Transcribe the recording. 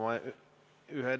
Aga nüüd läheme ikkagi teema juurde.